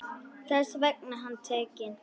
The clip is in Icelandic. Þess vegna var hann tekinn.